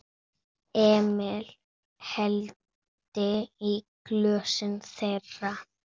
Emil hellti í glösin þeirra.